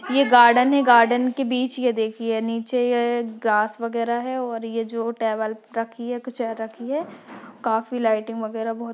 ये गार्डन है गार्डन के बीच ये देखिए नीचे ये घांस वगैरह है और ये जो टेवल रखी है एक चेयर रखी है काफ़ी लाइटिंग वगैरह बहुत --